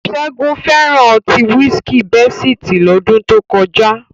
Ṣẹ́gun fẹ́ràn ọtí wísíkìi Bẹ́sìtì lọ́dún tó kọjá